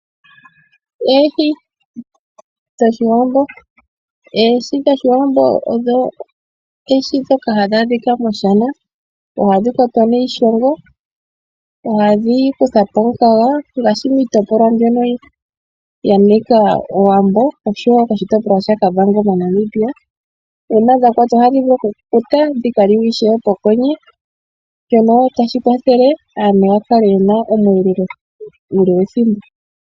Oohi dhOshiwambo odho oohi ndhoka hadhi adhika moshana. Ohadhi kwatwa niishongo, ohadhi kutha po omukaga ngaashi miitopolwa mbyono ya nika Owambo oshowo moshitopolwa shaKavango moNamibia. Uuna dha kwatwa ohadhi vulu okukukuta, dhi ka liwe ishewe mokwenye, shono tashi kwathele aantu ya kale ye na omweelelo uule wethimbo.